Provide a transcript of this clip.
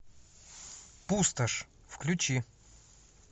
пустошь включи